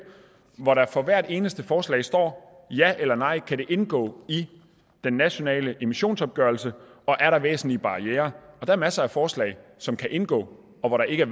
hvor der for hvert eneste forslag står ja eller nej kan det indgå i den nationale emissionsopgørelse og er der væsentlige barrierer og der er masser af forslag som kan indgå og hvor der ikke er